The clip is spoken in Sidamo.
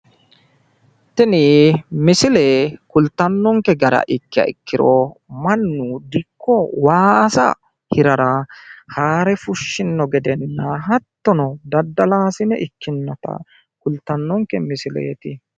Tini misile kulittanonke gede ikkiro mannu waasa hirara harre fushshino gedenna daddalaasine ikkinota kultannonke misileeti.